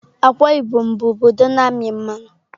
Akwa Ibom bụ obodo na-amị mmanụ.